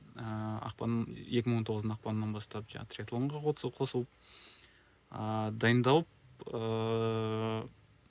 ыыы ақпан екі мың он тоғыздың ақпанынына бастап жаңағы триатлонға қосылып ыыы дайындалып ыыы